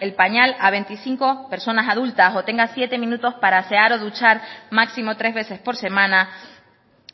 el pañal a veinticinco personas adultas o tenga siete minutos para asear o duchar máximo tres veces por semana